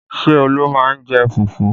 Ṣé Olu má ń jẹ fufu?